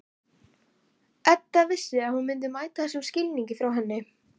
Edda vissi að hún myndi mæta þessum skilningi frá henni.